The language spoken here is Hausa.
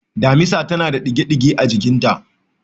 Damisa tana da ɗige-ɗige a jikinta.